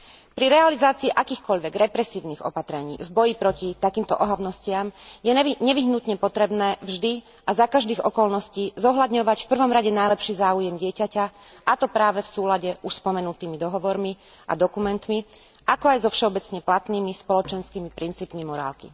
Pri realizácii akýchkoľvek represívnych opatrení v boji proti takýmto ohavnostiam je nevyhnutne potrebné vždy a za každých okolností zohľadňovať v prvom rade najlepší záujem dieťaťa, a to práve v súlade s už spomenutými dohovormi a dokumentmi, ako aj so všeobecne platnými spoločenskými princípmi morálky.